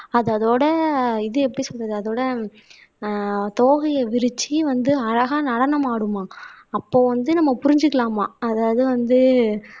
அது அதோட இது எப்படி சொல்றது அதோட ஆஹ் தோகைய விரிச்சு வந்து அழகா நடனம் ஆடுமாம் அப்போ வந்து நம்ம புரிஞ்சுக்கலாமா அதாவது வந்து